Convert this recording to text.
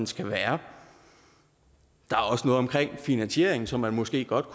skal være der er også noget om finansieringen som man måske godt